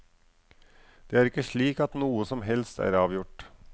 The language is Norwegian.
Det er ikke slik at noe som helst er avgjort.